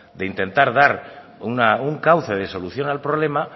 de intentar dar un cauce de solución al problema